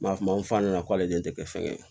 N b'a fɔ fa ɲɛna k'ale de tɛ kɛ fɛn ye